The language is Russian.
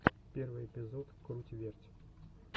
первый эпизод круть верть